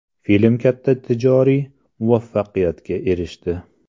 Film katta tijoriy muvaffaqiyatga erishdi.